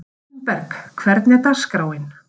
Rósinberg, hvernig er dagskráin?